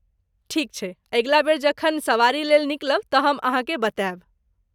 ठीक छैक, अगिला बेर जखन सवारीलेल निकलब तँ हम अहाँकेँ बतायब।